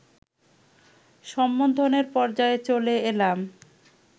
সম্বোধনের পর্যায়ে চলে এলাম